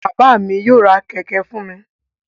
Bàbà mí yóò rá kẹkẹ fún mí